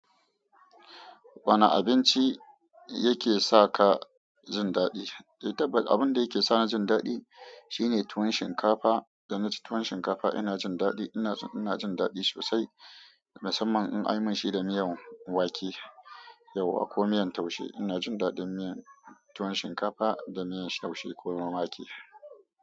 Wana abinci yake sa ka jin daɗi? Eh tabbas abun da yake sa ni jin daɗi shine tuwon shinkafa. Da na ci tuwon shinkafa ina jin daɗi, ina jin daɗi sosai. Musamman in an yi minshi da miyan wake yauwa ko miyan taushe. Ina jin daɗin tuwon shinkafa da miyan taushe ko na wake.